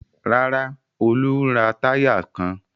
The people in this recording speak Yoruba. Rárá, Olú ń ra táyà kan.